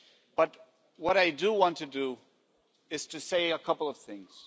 But what I do want to do is to say a couple of things.